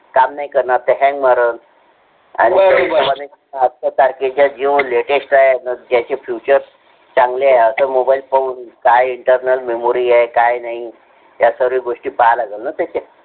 काम नाही करणार ते hang मारन आणि त्यामध्ये आमच्यासारखे जे jio latest आहे त्याचे features चांगले आहे. mobile मध्ये अशी mobile पाहून काय internal memory आहे काय नाहीया सर्व घोषती पाहे लागल ना